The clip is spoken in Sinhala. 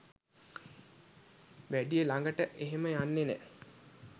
වැඩිය ලඟට එහෙම යන්නේ නෑ